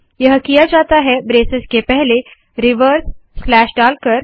यह किया जाता है ब्रेसेस के पहले रिवर्स स्लैश डालकर